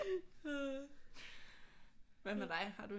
Hvad med dig har du